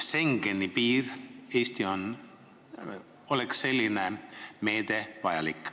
Schengeni piiril, mis Eestis on, oleks selline meede vajalik.